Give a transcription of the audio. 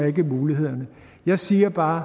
ikke mulighederne jeg siger bare